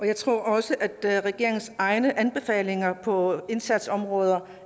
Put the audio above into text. jeg tror også at der er regeringens egne anbefalinger på indsatsområder